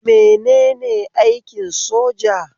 Menene aikin soja?